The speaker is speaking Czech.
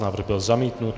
Návrh byl zamítnut.